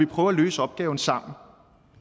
prøve at løse opgaven sammen